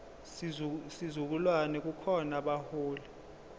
sizukulwane kukhona abaholi